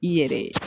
I yɛrɛ